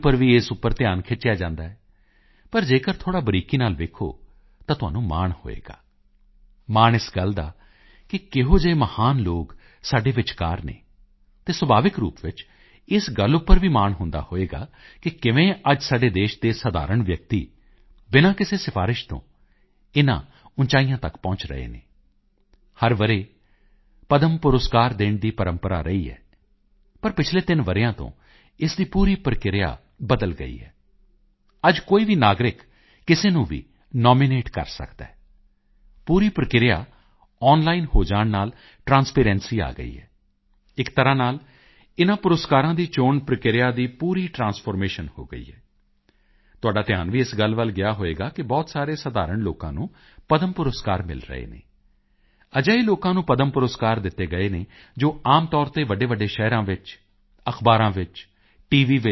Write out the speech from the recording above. ਉੱਪਰ ਵੀ ਇਸ ਉੱਪਰ ਧਿਆਨ ਖਿੱਚਿਆ ਜਾਂਦਾ ਹੈ ਪਰ ਜੇਕਰ ਥੋੜ੍ਹਾ ਬਰੀਕੀ ਨਾਲ ਵੇਖੋ ਤਾਂ ਤੁਹਾਨੂੰ ਮਾਣ ਹੋਵੇਗਾ ਮਾਣ ਇਸ ਗੱਲ ਦਾ ਕਿ ਕਿਹੋ ਜਿਹੇ ਮਹਾਨ ਲੋਕ ਸਾਡੇ ਵਿਚਕਾਰ ਹਨ ਅਤੇ ਸੁਭਾਵਿਕ ਰੂਪ ਵਿੱਚ ਇਸ ਗੱਲ ਉੱਪਰ ਵੀ ਮਾਣ ਹੁੰਦਾ ਹੋਵੇਗਾ ਕਿ ਕਿਵੇਂ ਅੱਜ ਸਾਡੇ ਦੇਸ਼ ਦੇ ਸਧਾਰਣ ਵਿਅਕਤੀ ਬਿਨਾਂ ਕਿਸੇ ਸਿਫਾਰਸ਼ ਤੋਂ ਇਨ੍ਹਾਂ ਉਚਾਈਆਂ ਤੱਕ ਪਹੁੰਚ ਰਹੇ ਹਨ ਹਰ ਵਰ੍ਹੇ ਪਦਮ ਪੁਰਸਕਾਰ ਦੇਣ ਦੀ ਪ੍ਰੰਪਰਾ ਰਹੀ ਹੈ ਪਰ ਪਿਛਲੇ 3 ਵਰ੍ਹਿਆਂ ਤੋਂ ਇਸ ਦੀ ਪੂਰੀ ਪ੍ਰਕਿਰਿਆ ਬਦਲ ਗਈ ਹੈ ਅੱਜ ਕੋਈ ਵੀ ਨਾਗਰਿਕ ਕਿਸੇ ਨੂੰ ਵੀ ਨਾਮੀਨੇਟ ਕਰ ਸਕਦਾ ਹੈ ਪੂਰੀ ਪ੍ਰਕਿਰਿਆ ਆਨਲਾਈਨ ਹੋ ਜਾਣ ਨਾਲ ਟ੍ਰਾਂਸਪੇਰੈਂਸੀ ਆ ਗਈ ਹੈ ਇੱਕ ਤਰ੍ਹਾਂ ਨਾਲ ਇਨ੍ਹਾਂ ਪੁਰਸਕਾਰਾਂ ਦੀ ਚੋਣ ਪ੍ਰਕਿਰਿਆ ਦੀ ਪੂਰੀ ਟ੍ਰਾਂਸਫਾਰਮੇਸ਼ਨ ਹੋ ਗਈ ਹੈ ਤੁਹਾਡਾ ਧਿਆਨ ਵੀ ਇਸ ਗੱਲ ਗਿਆ ਹੋਵੇਗਾ ਕਿ ਬਹੁਤ ਸਾਰੇ ਸਧਾਰਣ ਲੋਕਾਂ ਨੂੰ ਪਦਮ ਪੁਰਸਕਾਰ ਮਿਲ ਰਹੇ ਹਨ ਅਜਿਹੇ ਲੋਕਾਂ ਨੂੰ ਪਦਮ ਪੁਰਸਕਾਰ ਦਿੱਤੇ ਗਏ ਹਨ ਜੋ ਆਮ ਤੌਰ ਤੇ ਵੱਡੇਵੱਡੇ ਸ਼ਹਿਰਾਂ ਵਿੱਚ ਅਖ਼ਬਾਰਾਂ ਵਿੱਚ ਟੀ